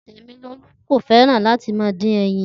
Temilolu ko fẹràn lati ma din ẹyin